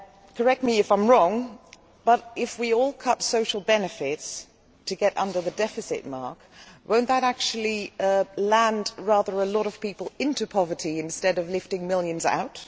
Correct me if I am wrong, but if we all cut social benefits to get under the deficit ceiling, will that not actually push rather a lot of people into poverty instead of lifting millions out?